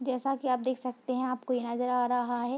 जैसा की आप देख सकते हैं आपको ये नजर आ रहा है।